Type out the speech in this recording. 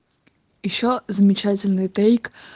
ещё замечательный тейк